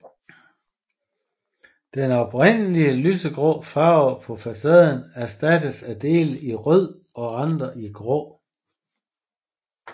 Den oprindelige lysegrå farve på facaden erstattedes af dele i rød og andre i grå